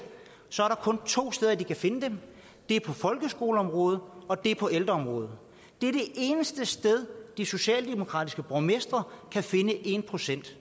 så er der kun to steder de kan finde dem det er på folkeskoleområdet og det er på ældreområdet det er de eneste steder de socialdemokratiske borgmestre kan finde en procent